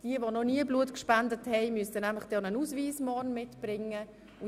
Wer noch nie Blut gespendet hat, muss einen Ausweis mitnehmen.